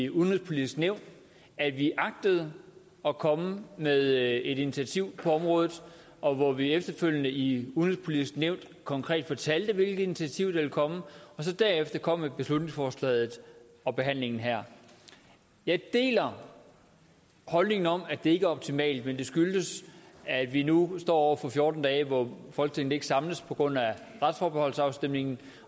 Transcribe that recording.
udenrigspolitiske nævn at vi agtede at komme med et initiativ på området og hvor vi efterfølgende i udenrigspolitiske nævn konkret fortalte hvilke initiativer der ville komme og så derefter kom med beslutningsforslaget og behandlingen her jeg deler holdningen om at det ikke er optimalt men det skyldes at vi nu står over for fjorten dage hvor folketinget ikke samles på grund af retsforbeholdsafstemningen